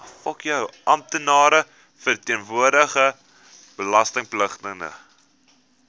amptenaar verteenwoordigende belastingpligtige